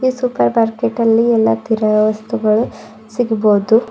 Super market ಅಲ್ಲಿ ಎಲ್ಲಾ ತರ ವಸ್ತುಗಳು ಸಿಗ್ಬೋದು.